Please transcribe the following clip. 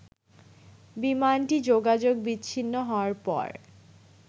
বিমানটি যোগাযোগ বিচ্ছিন্ন হওয়ার পর